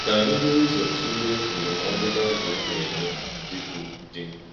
Kà anyị buru ụzọ tụlee ndúmòdù Baịbụl na-enye ndị bụ́ di.